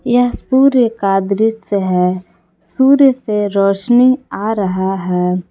यह सूर्य का दृश्य है सूर्य से रोशनी आ रहा है।